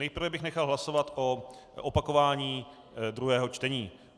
Nejprve bych nechal hlasovat o opakování druhého čtení.